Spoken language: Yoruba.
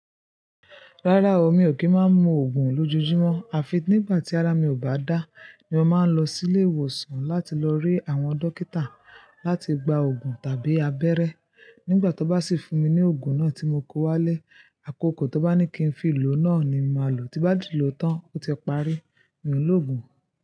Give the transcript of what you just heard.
Rárá o, mi ò kí máa ń mu Ògùn loójújumọ́. Àfi nígbà tí ara mi ò bá dá, ni mo máa ń lọ sí ilé ìwòsàn láti lọ rí àwọn dókítà láti gba ògùn tàbí abẹ́rẹ́. Nígbà tó bá sì fún mi ní ògùn náà tí mo kó wálé, àkókò tó bá ní kí n fi lò náà ni màá lò. Tí bá ti lò tán ó ti parí, mi ò lòògùn.